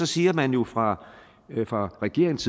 siger man jo fra fra regeringens